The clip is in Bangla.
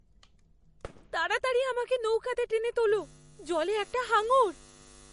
তাড়াতাড়ি আমাকে নৌকাতে টেনে তোল, জলে একটা হাঙর!